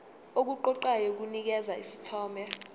okuqoqayo kunikeza isithombe